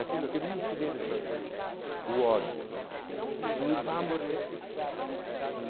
Aquilo que não se deve fazer, o ódio né, e vamos reerguer.